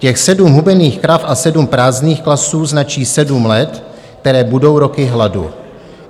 Těch sedm hubených krav a sedm prázdných klasů značí sedm let, které budou roky hladu.